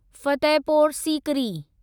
Fatehpur Sikri